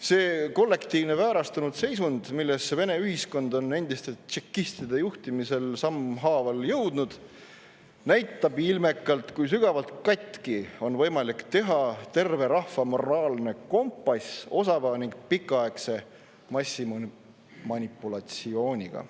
See kollektiivne väärastunud seisund, millesse Vene ühiskond on endiste tšekistide juhtimisel sammhaaval jõudnud, näitab ilmekalt, kui sügavalt katki on võimalik teha terve rahva moraalne kompass osava ning pikaaegse massimanipulatsiooniga.